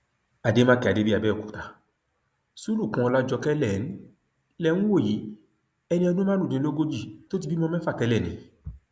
àdèmàkè adébíyìàbẹòkúta sulukùn ọlàjọkẹ lẹ ń lẹ ń wò yìí ẹni ọdún márùndínlógójì tó ti bímọ mẹfà tẹlẹ ni